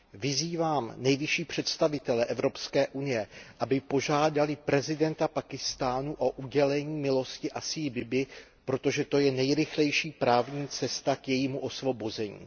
Vyzývám nejvyšší představitele Evropské unie, aby požádali prezidenta Pákistánu o udělění milosti Asii Bibiové, protože to je nejrychlejší právní cesta k jejímu osvobození.